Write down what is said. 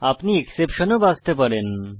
আপনি এক্সেপশন ও বাছতে পারেন